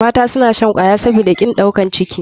Mata suna shan kwaya sabida kin ɗaukar ciki.